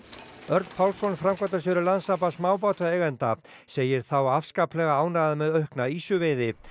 Örn Pálsson framkvæmdastjóri Landssambands smábátaeigenda segir þá afskaplega ánægða með aukna ýsuveiði